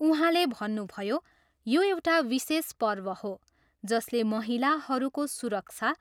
उहाँले भन्नुभयो, यो एउटा विशेष पर्व हो जसले महिलाहरूको सुरक्षा